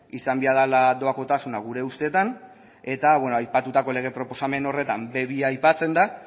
izan behar dela doakotasuna gure ustetan eta beno aipatutako lege proposamen horretan be bi a aipatzen da